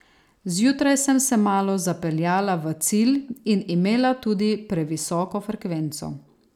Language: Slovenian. Zjutraj sem se malo zapeljala v cilj in imela tudi previsoko frekvenco.